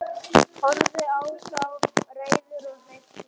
Horfði á þá, reiður og hneykslaður.